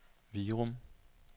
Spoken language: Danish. Virum